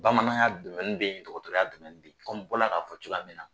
Bamananya domɛni bɛ yen, dɔgɔtorɔya domɛnni kɔmi n bɔra k'a fɔ cogoya min na.